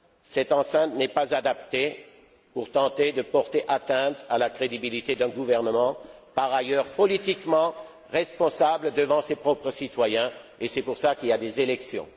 Cette enceinte n'est pas adaptée pour tenter de porter atteinte à la crédibilité d'un gouvernement, par ailleurs politiquement responsable devant ses propres citoyens et c'est pour cela qu'il y a des élections.